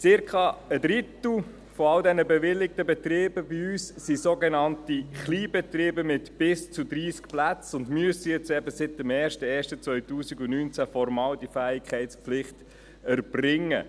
Zirka ein Drittel aller bewilligten Betriebe bei uns sind sogenannte Kleinbetriebe mit bis zu 30 Plätzen und müssen nun eben seit dem 1.1.2019 formal diese Fähigkeitspflicht erbringen.